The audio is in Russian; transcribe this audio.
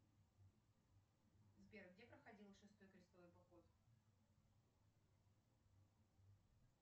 сбер где проходил шестой крестовый поход